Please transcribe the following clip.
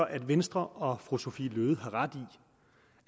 at venstre og fru sophie løhde har ret